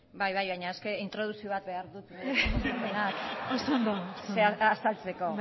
bai bai baina introdukzio bat behar dut azalpenak azaltzeko